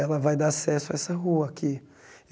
Ela vai dar acesso a essa rua aqui.